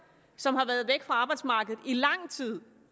som har været væk fra arbejdsmarkedet i lang tid